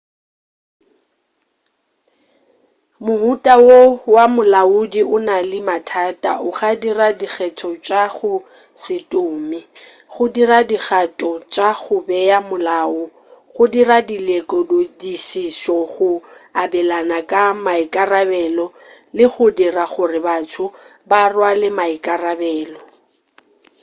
mohuta wo wa molaodi o na le mathata a go dira dikgetho tša go se tume go dira dikgato tša go bea molao go dira dilekodišišo go abelana ka maikarabelo le go dira gore batho ba rwale maikarabelo